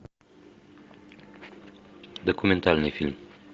документальный фильм